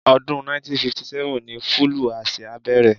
Ọdún 1957 ní fúlúù Aṣia bẹ̀rẹ̀.